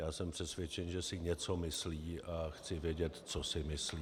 Já jsem přesvědčen, že si něco myslí, a chci vědět, co si myslí.